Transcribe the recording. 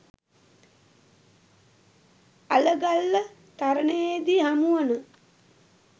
අලගල්ල තරණයේදී හමුවන